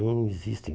Não existe.